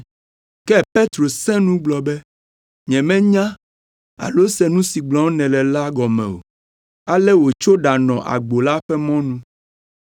Ke Petro sẽ nu gblɔ be, “Nyemenya alo se nu si gblɔm nèle la gɔme o.” Ale wòtso ɖanɔ agbo la ƒe mɔnu.